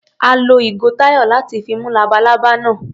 A lo ìgò Táyọ̀ láti fi mú labalábá náà.